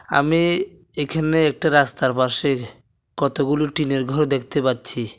আমি এখানে একটা রাস্তার পাশে কতগুলো টিনের ঘর দেখতে পাচ্ছি।